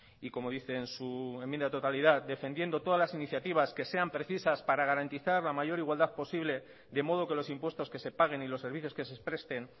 y como dice en su enmienda de totalidad defendiendo todas las iniciativas que sean precisas para garantizar la mayor igualdad posible de modo que los impuestos que se paguen y los servicios que se presten